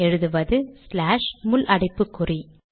எழுதுவது ஸ்லாஷ் முள் அடைப்புக்குறி